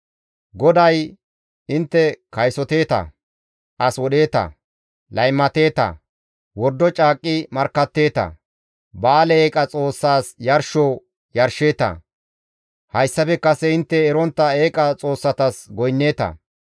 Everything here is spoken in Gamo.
GODAY, «Intte kaysoteeta, as wodheeta, laymateeta, wordo caaqqi markkatteeta, Ba7aale eeqa xoossas yarsho yarsheeta, hayssafe kase intte erontta eeqa xoossatas goynneeta.